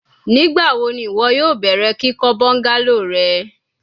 Nigbawo ni iwọ yoo bẹrẹ kikọ bungalow rẹ?